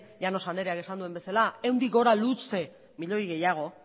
llanos andreak esan duen bezala ehundik gora luze milioi gehiago